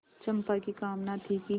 चंपा की कामना थी कि